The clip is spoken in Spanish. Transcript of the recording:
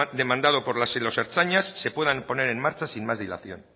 demandados por los ertzainas se puedan poner en marcha sin más dilación